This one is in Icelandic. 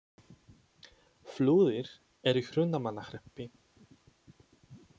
Flúðir er í Hrunamannahreppi.